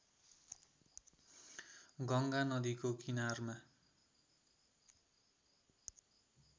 गङ्गा नदीको किनारमा